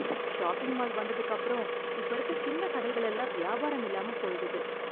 Shopping mall வந்ததுக்கப்புறம் இப்ப இருக்க சின்ன கடைகள் எல்லாம் வியாபாரம் இல்லாம போயிடுது.